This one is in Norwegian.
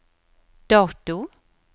dato